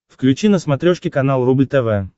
включи на смотрешке канал рубль тв